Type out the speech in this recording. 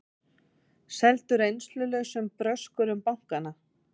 Seldu reynslulausum bröskurum bankana